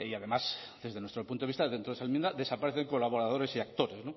además desde nuestro punto de vista dentro esa enmienda desaparecen colaboradores y actores